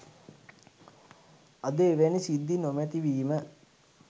අද එවැනි සිද්ධි නොමැති වීම